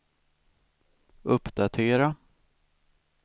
uppdatera